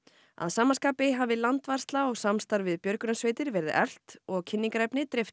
að sama skapi hafi landvarsla og samstarf við björgunarsveitir verið eflt og kynningarefni dreift til